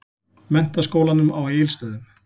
Menntaskólanum á Egilsstöðum.